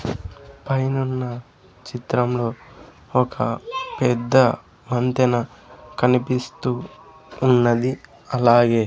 పైనున్న చిత్రంలో ఒక పెద్ద వంతెన కనిపిస్తూ ఉన్నది అలాగే--